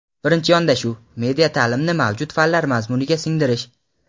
Birinchi yondashuv – media taʼlimni mavjud fanlar mazmuniga singdirish.